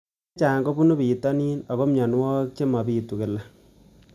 Ng'alek chechang' kopunu pitonin ako mianwogik che mapitu kila